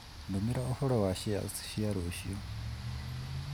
ndũmĩra ũhoro wa shares cia rũciũ